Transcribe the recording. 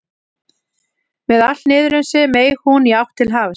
Með allt niður um sig meig hún í átt til hafs.